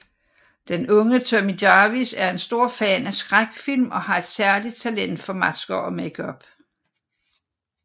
Den unge Tommy Jarvis er en stor fan af skrækfilm og har et særligt talent for masker og makeup